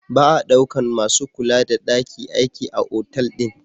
Ba a daukan masu kula da daki aiki a otal din.